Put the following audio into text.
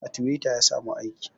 A twitter ya samu aiki